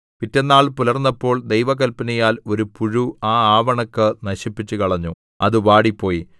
പിറ്റെന്നാൾ പുലർന്നപ്പോൾ ദൈവകൽപ്പനയാൽ ഒരു പുഴു ആ ആവണക്ക് നശിപ്പിച്ചുകളഞ്ഞു അത് വാടിപ്പോയി